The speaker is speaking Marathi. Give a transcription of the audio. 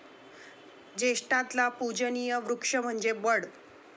जेष्ठातला पुजनीय वृक्ष म्हणजे वड.